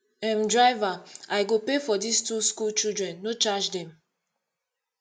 um driver i go pay for dis two school children no charge dem